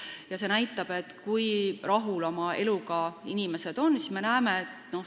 See joonis näitab, kui rahul inimesed oma eluga on.